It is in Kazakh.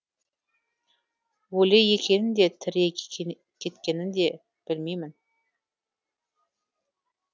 өлі екенін де тірі кеткенін де білмеймін